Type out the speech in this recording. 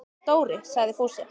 Dóri! sagði Fúsi.